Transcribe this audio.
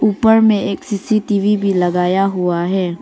ऊपर में एक सी_सी_टी_वी भी लगाया हुआ है।